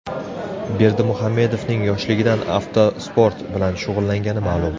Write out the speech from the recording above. Berdimuhamedovning yoshligidan avtosport bilan shug‘ullangani ma’lum.